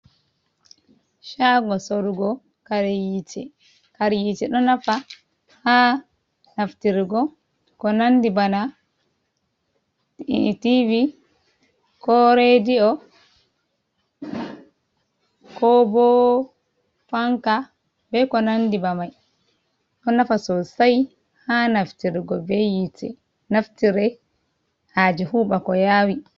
Shago sorugo kare yite. Kare yite ɗo nafa ha naftirgo ko nandi bana TV, ko rediyo, ko bo fanka, be ko nandi bamai. Ɗo nafa sosai ha naftirgo be yite. Naftire haje huɓa ko yawi.